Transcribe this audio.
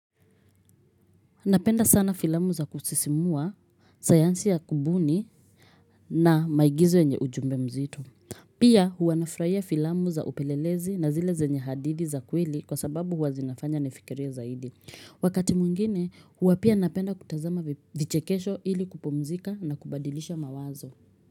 Napenda sana filamu za kusisimua sayansi ya kubuni na maigizo yenye ujumbe mzitu. Pia huwanafraia filamu za upelelezi na zile zenye hadithi za kweli kwa sababu huwazinafanya nifikirie zaidi. Wakati mwingine huwapia napenda kutazama vichekesho ili kupumzika na kubadilisha mawazo.